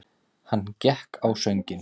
Hann gekk á sönginn.